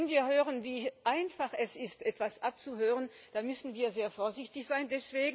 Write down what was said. Wenn wir hören, wie einfach es ist, etwas abzuhören, dann müssen wir sehr vorsichtig sein.